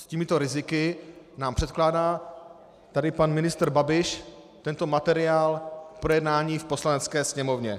S těmito riziky nám předkládá tady pan ministr Babiš tento materiál k projednání v Poslanecké sněmovně.